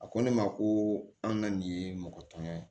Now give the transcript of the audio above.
A ko ne ma ko an ka nin ye mɔgɔ tɔɲa ye